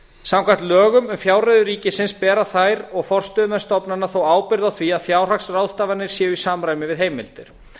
samkvæmt lögum um fjárreiður ríkisins bera þær og forstöðumenn stofnana þó ábyrgð á því að fjárhagsráðstafanir séu í samræmi við heimildir